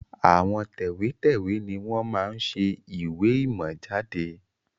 Àwọn tẹ̀wẹ́tẹ́wẹ́ ni wọn máa ń ṣe ìwé ìmọ̀ jáde